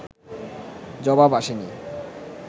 জবাব আসে নি